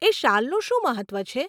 એ શાલનું શું મહત્વ છે?